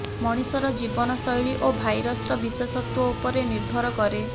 ମଣିଷର ଜୀବନ ଶୈଳୀ ଓ ଭାଇରସର ବିଶେଷତ୍ୱ ଉପରେ ନିର୍ଭର କରେ